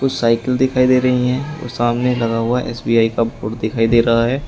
Cycle दिखाई दे रही है और सामने लगा हुआ एस_बी_आई का बोर्ड दिखाई दे रहा है।